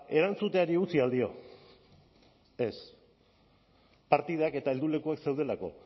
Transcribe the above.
erantzuteari utzi al dio ez partidak eta heldulekuak zeudelako